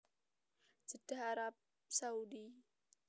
Jeddah Arab Saudi